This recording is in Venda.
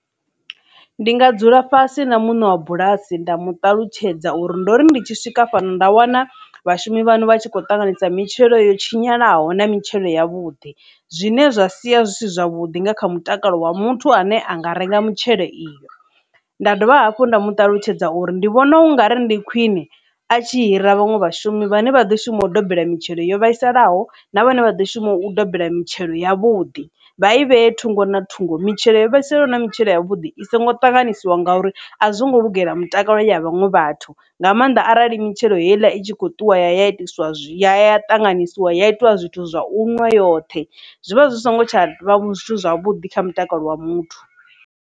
Ndi nga dzula fhasi na muṋe wa bulasi nda mu ṱalutshedza uri ndo ri ndi tshi swika fhano nda wana vhashumi vhaṋu vha tshi kho tanganyisa mitshelo yo tshinyalaho na mitshelo ya vhuḓi zwine zwa sia zwisi zwavhuḓi nga kha mutakalo wa muthu ane a nga renga mitshelo iyi. Nda dovha hafhu nda mu ṱalutshedza uri ndi vhona u nga ri ndi khwine a tshi hira vhaṅwe vhashumi vhane vha ḓo shuma u dobela mitshelo yo vhaisalaho na vhane vha ḓo shuma u dobela mitshelo ya vhuḓi vha i vhe thungo na thungo mitshelo yo vhaisalaho na mitshelo ya vhuḓi iso ngo ṱanganyisiwa ngauri a zwo ngo lugela mutakalo ya vhaṅwe vhathu nga maanḓa arali mitshelo heiḽa i tshi kho ṱuwa ya itiswa zwi ya ṱanganyisiwa ya itiwa zwithu zwa unwa yoṱhe zwi vha zwi songo tsha vha zwithu zwavhuḓi kha mutakalo wa muthu.